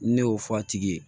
Ne y'o f'a tigi ye